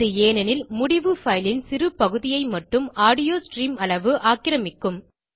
இது ஏனெனில் முடிவு பைல் ன் சிறு பகுதியை மட்டும் ஆடியோ ஸ்ட்ரீம் அளவு ஆக்கிரமிக்கும்